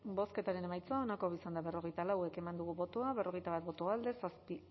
bozketaren emaitza onako izan da berrogeita lau eman dugu bozka berrogeita bat boto alde zazpi